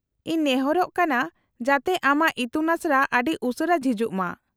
-ᱤᱧ ᱱᱮᱦᱚᱨᱚᱜ ᱠᱟᱱᱟ ᱡᱟᱛᱮ ᱟᱢᱟᱜ ᱤᱛᱩᱱ ᱟᱥᱲᱟ ᱟᱹᱰᱤ ᱩᱥᱟᱹᱨᱟ ᱡᱷᱤᱡᱚᱜ ᱢᱟ ᱾